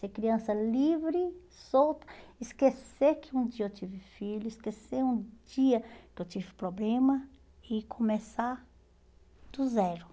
Ser criança livre, solta, esquecer que um dia eu tive filho, esquecer um dia que eu tive problema e começar do zero.